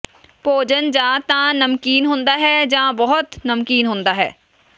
ਭੋਜਨ ਜਾਂ ਤਾਂ ਨਮਕੀਨ ਹੁੰਦਾ ਹੈ ਜਾਂ ਬਹੁਤ ਨਮਕੀਨ ਹੁੰਦਾ ਹੈ